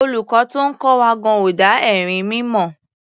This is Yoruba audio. Olùkọ́ tó ń kọ́ wọn gan-an ò dá erinmi mọ̀.